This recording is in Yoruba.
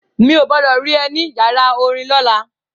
Mi ò gbọdọ̀ rí ẹ ní ìyàrá orin lọ́la.